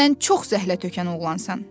Sən çox zəhlətökən oğlansan.